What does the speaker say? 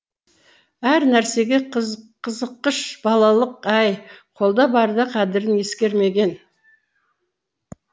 әр нәрсеге қызыққыш балалық ай қолда барда қадірін ескермеген